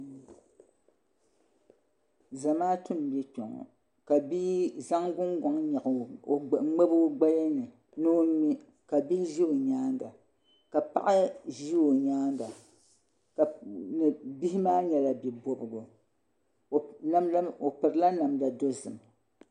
Zamaatu n bɛ kpɛ ŋo ka bia zaŋ gungoŋ ŋmabi o gbaya ni ni o ŋmɛ ka bihi ƶɛ o nyaanga ka paɣa ʒɛ o nyaanga bihi maa nyɛla bia bobgu o pirila namda dozim